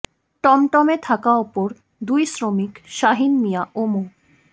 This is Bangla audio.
টমটমে থাকা অপর দুই শ্রমিক শাহীন মিয়া ও মো